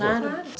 Claro, claro.